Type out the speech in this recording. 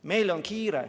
Meil on kiire.